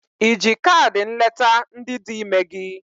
Iji kaadị nleta ndị dị ime gị?